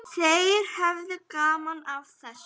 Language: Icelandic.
Þeir höfðu gaman af þessu.